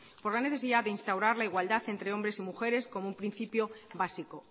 por la necesidad de instaurar la igualdad entre hombres y mujeres como un principio básico